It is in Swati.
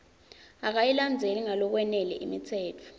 akayilandzeli ngalokwanele imitsetfo